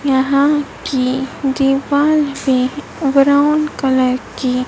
यहां की दीवार भी ब्राउन कलर की--